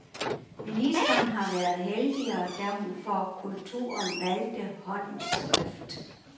Ministeren har været heldigere, da hun for kulturen valgte håndens skrift.